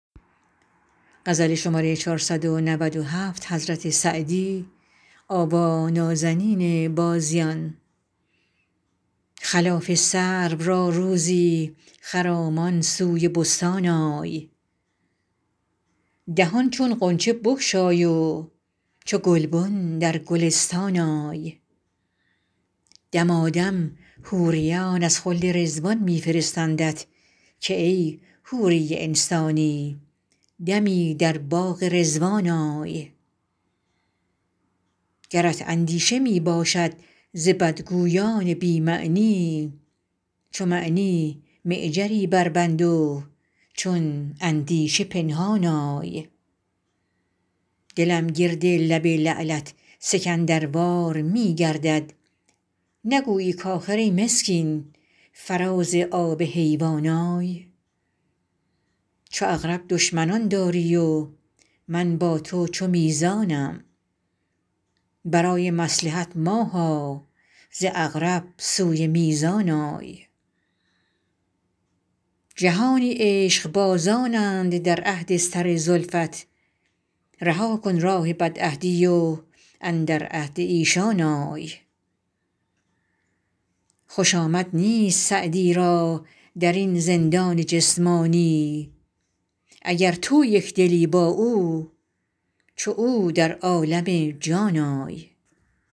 خلاف سرو را روزی خرامان سوی بستان آی دهان چون غنچه بگشای و چو گلبن در گلستان آی دمادم حوریان از خلد رضوان می فرستندت که ای حوری انسانی دمی در باغ رضوان آی گرت اندیشه می باشد ز بدگویان بی معنی چو معنی معجری بربند و چون اندیشه پنهان آی دلم گرد لب لعلت سکندروار می گردد نگویی کآخر ای مسکین فراز آب حیوان آی چو عقرب دشمنان داری و من با تو چو میزانم برای مصلحت ماها ز عقرب سوی میزان آی جهانی عشقبازانند در عهد سر زلفت رها کن راه بدعهدی و اندر عهد ایشان آی خوش آمد نیست سعدی را در این زندان جسمانی اگر تو یک دلی با او چو او در عالم جان آی